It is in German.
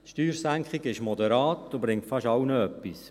Die Steuersenkung ist moderat und bringt fast allen etwas.